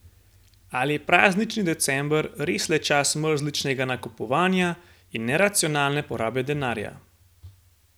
Ali je praznični december res le čas mrzličnega nakupovanja in neracionalne porabe denarja?